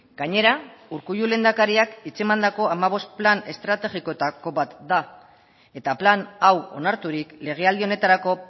gainera urkullu lehendakariak hitz emandako hamabost plan estrategikoetako bat da eta plan hau onarturik legealdi honetarako